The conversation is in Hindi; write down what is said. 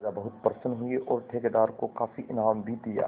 राजा बहुत प्रसन्न हुए और ठेकेदार को काफी इनाम भी दिया